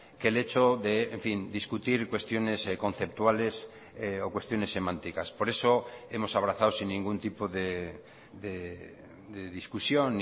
que el hecho de en fin discutir cuestiones conceptuales o cuestiones semánticas por eso hemos abrazado sin ningún tipo de discusión